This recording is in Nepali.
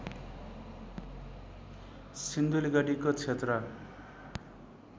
सिन्धुलीगढीको क्षेत्र